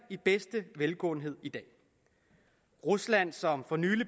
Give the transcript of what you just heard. i bedste velgående i dag rusland som for nylig